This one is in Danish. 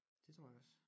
Det tror jeg også